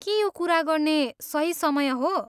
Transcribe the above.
के यो कुरा गर्ने सही समय हो?